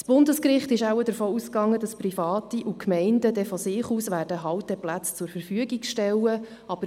Das Bundesgericht ging wahrscheinlich davon aus, dass Private und Gemeinden dann von sich aus Halteplätze zur Verfügung stellen würden.